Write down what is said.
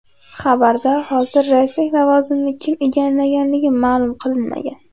Xabarda hozir raislik lavozimini kim egallagani ma’lum qilinmagan.